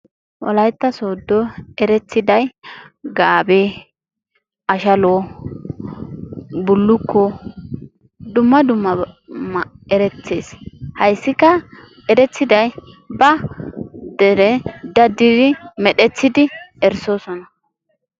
Wolayitta sodo erettiday gaabe, ashalo, bullukko dumma dummaban erettees hayissikka erettiday ba dere daddidi medhdhettidi erissoosona.